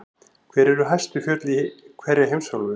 Hver eru hæstu fjöll í hverri heimsálfu?